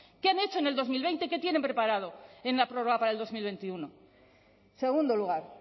qué han hecho en el dos mil veinte qué tienen preparado en la prórroga para el dos mil veintiuno segundo lugar